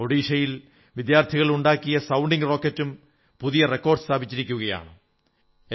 ഒഡീഷയിൽ വിദ്യാർഥികൾ ഉണ്ടാക്കിയ സൌണ്ടിംഗ് റോക്കറ്റുകളും പുതിയ റെക്കാഡ് സ്ഥാപിച്ചിരിക്കയാണ്